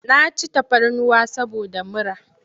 Na ci tafarnuwa saboda mura.